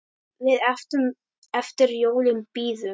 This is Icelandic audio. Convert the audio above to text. Við eftir jólum bíðum.